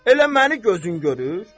Elə məni gözü yumur?